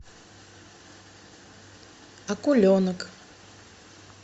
акуленок